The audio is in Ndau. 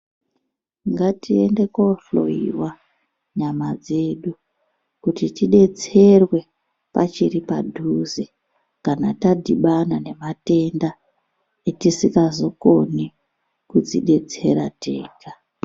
Ngatiende kohloiwa nyama dzedu kuti tidetserwe pachiri padhuze kana tadhibana nematenda etisikazokoni kudzidetsera tega.